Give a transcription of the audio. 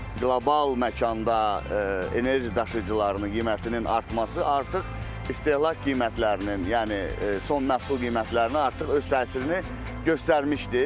Qlobal məkanda enerji daşıyıcılarının qiymətinin artması artıq istehlak qiymətlərinin, yəni son məhsul qiymətlərini artıq öz təsirini göstərmişdir.